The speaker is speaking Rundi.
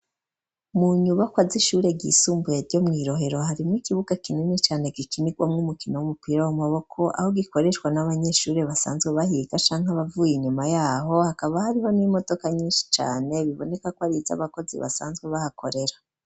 Mu nyubakwa z'ishure ryisumbuye ryo mw'Irohero, harimwo ikibuga kinini cane gikinirwamwo umukino w'umupira w'amaboko, aho gikoreshwa n'abanyeshure basanzwe bahiga canke abavuye inyuma y'aho, hakaba hariho n'imodoka nyinshi cane biboneka ko ari iz'abakozi basanzwe bahakorera.